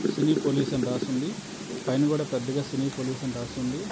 సిరి police అని రాసింది పైన కూడా పెద్దగా సిరి పోలీస్ అని రాస్తుంది.